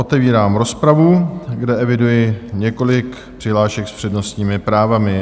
Otevírám rozpravu, kde eviduji několik přihlášek s přednostními právy.